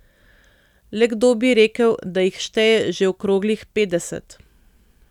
Le kdo bi rekel, da jih šteje že okroglih petdeset!